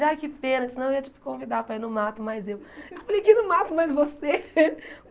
Ele, ai, que pena, senão eu ia te convidar para ir no mato, mais eu... Eu falei que não mato mais você.